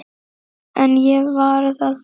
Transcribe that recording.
En ég varð að fara.